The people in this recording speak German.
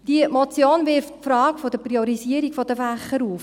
Die Motion wirft die Frage der Priorisierung der Fächer auf: